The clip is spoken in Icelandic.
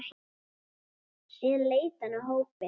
Síðan leit hann á hópinn.